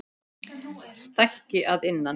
Stækki að innan.